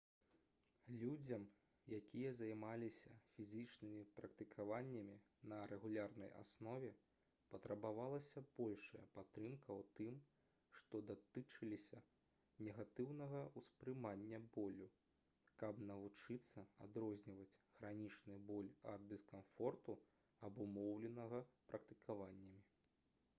людзям якія займаліся фізічнымі практыкаваннямі на рэгулярнай аснове патрабавалася большая падтрымка ў тым што датычылася негатыўнага ўспрымання болю каб навучыцца адрозніваць хранічны боль ад дыскамфорту абумоўленага практыкаваннямі